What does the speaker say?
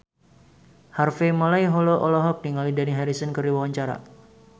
Harvey Malaiholo olohok ningali Dani Harrison keur diwawancara